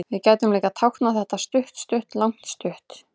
Við gætum líka táknað þetta stutt-stutt-langt-stutt.